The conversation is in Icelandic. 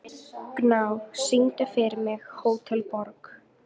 Gná, syngdu fyrir mig „Hótel Borg“.